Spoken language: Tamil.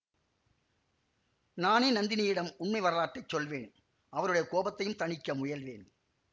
நானே நந்தினியிடம் உண்மை வரலாற்றை சொல்வேன் அவருடைய கோபத்தையும் தணிக்க முயல்வேன்